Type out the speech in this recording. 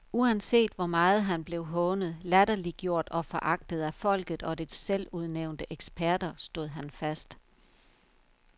Uanset hvor meget han blev hånet, latterliggjort og foragtet af folket og dets selvudnævnte eksperter, stod han fast.